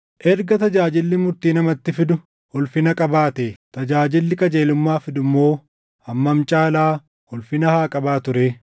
Erga tajaajilli murtii namatti fidu ulfina qabaatee, tajaajilli qajeelummaa fidu immoo hammam caalaa ulfina haa qabaatu ree!